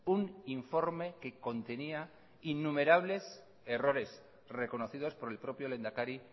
un informe que contenía innumerables errores reconocidos por el propio lehendakari